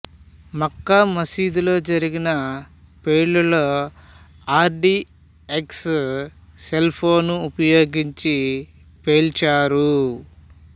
మక్కా మసీదులో జరిగిన పేలుళ్ళలో ఆర్ డి ఎక్స్ను సెల్ఫోను ఉపయోగించి పేల్చారు